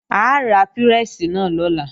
A ra pírẹ́sì náà lọ́la